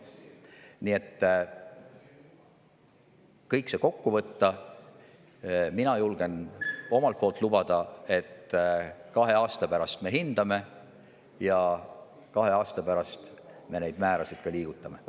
Kui kõik see kokku võtta, siis mina julgen lubada, et kahe aasta pärast me seda kõike hindame ja kahe aasta pärast me neid määrasid ka liigutame.